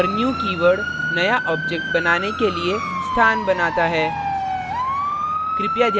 और new keyword नया object बनाने के लिए स्थान बनाता है